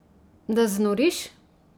Da znoriš!